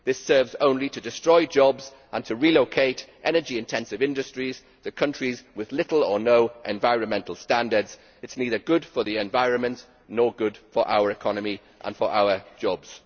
This serves only to destroy jobs and to relocate energy intensive industries to countries with poor or no environmental standards, which is neither good for the environment nor good for our economies and jobs.